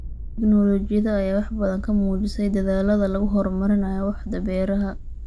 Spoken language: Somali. Tignoolajiyada ayaa wax badan ka muujisay dadaallada lagu horumarinayo waaxda beeraha.